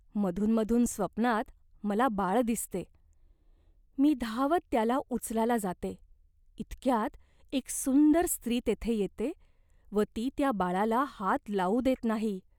मधून मधून स्वप्नात मला बाळ दिसते. मी धावत त्याला उचलायला जाते इतक्यात एक सुंदर स्त्री तेथे येते व ती त्या बाळाला हात लावू देत नाही.